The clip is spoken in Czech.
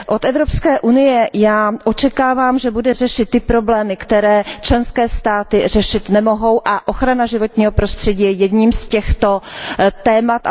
Od Evropské unie očekávám, že bude řešit ty problémy, které členské státy řešit nemohou, a ochrana životního prostředí je jedním z těchto témat.